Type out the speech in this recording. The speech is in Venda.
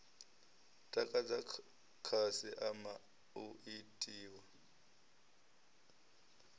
takadza khasi ama u itiwa